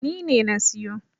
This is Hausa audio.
Ni ne na siyo.